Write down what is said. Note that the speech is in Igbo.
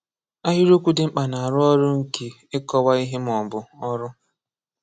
Ahịrịokwu dị mkpa na-arụ ọrụ nke ịkọ̀wa ihe ma ọ bụ ọrụ.